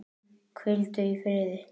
Hvíldu í friði.